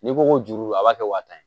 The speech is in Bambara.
N'i ko ko juru a b'a kɛ wa tan ye